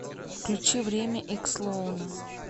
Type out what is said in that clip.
включи время икс лоуна